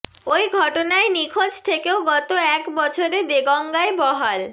ওই ঘটনায় নিখোঁজ থেকেও গত এক বছরে দেগঙ্গায় বহাল